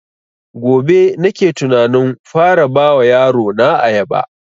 Gobe nake tunanin fara ba wa yaro na ayaba